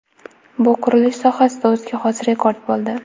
Bu qurilish sohasida o‘ziga xos rekord bo‘ldi.